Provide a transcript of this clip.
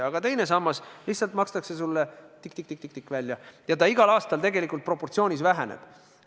Aga teine sammas lihtsalt makstakse sulle tikk-tikk-tikk-tikk välja ja see summa igal aastal tegelikult väheneb.